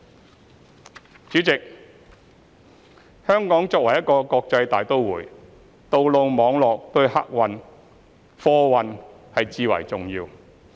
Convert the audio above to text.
代理主席，香港作為一個國際大都會，道路網絡對客貨運輸至為重要。